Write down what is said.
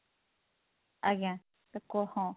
ଆଜ୍ଞା